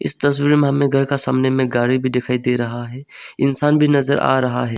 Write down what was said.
इस तस्वीर में हमें घर का सामने में गाड़ी भी दिखाई दे रहा है इंसान भी नजर आ रहा है।